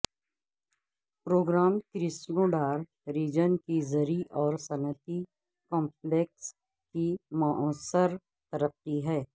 programme Krasnodar region کی زرعی اور صنعتی کمپلیکس کی موثر ترقی ہے